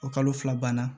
O kalo fila banna